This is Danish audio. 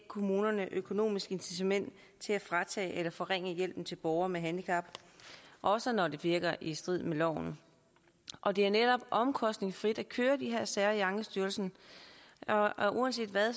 kommunerne et økonomisk incitament til at fratage eller forringe hjælpen til borgere med handicap også når det virker i strid med loven og det er netop omkostningsfrit at køre de her sager i ankestyrelsen og uanset hvad og